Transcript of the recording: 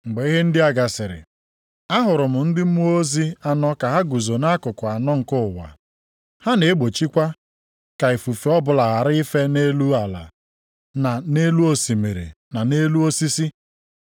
Mgbe ihe ndị a gasịrị, ahụrụ m ndị mmụọ ozi anọ ka ha guzo nʼakụkụ anọ nke ụwa. Ha na-egbochikwa ka ifufe ọbụla ghara ife nʼelu ala, na nʼelu osimiri, na nʼelu osisi.